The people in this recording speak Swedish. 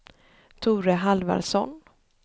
Tore Halvarsson